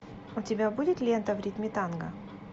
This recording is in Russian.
у тебя будет лента в ритме танго